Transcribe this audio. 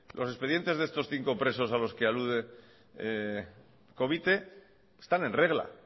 los expedientes de estos cinco presos a los que alude covite están en regla